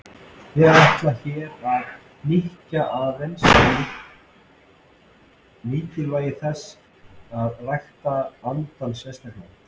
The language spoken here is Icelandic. Ég ætla hér að hnykkja aðeins á mikilvægi þess að rækta andann sérstaklega.